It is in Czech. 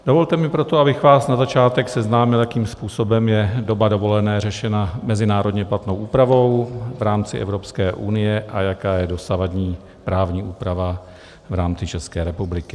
Dovolte mi proto, abych vás na začátek seznámil, jakým způsobem je doba dovolené řešena mezinárodně platnou úpravou v rámci Evropské unie a jaká je dosavadní právní úprava v rámci České republiky.